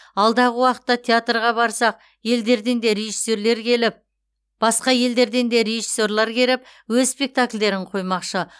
алдағы уақытта театрға басқа елдерден де режиссерлар келіп өз спектакльдерін қоймақшы